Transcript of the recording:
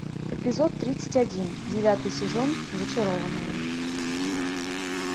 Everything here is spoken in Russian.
эпизод тридцать один девятый сезон зачарованные